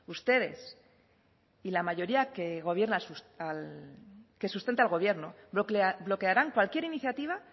ustedes y la mayoría que gobierna al que sustenta al gobierno bloquearán cualquier iniciativa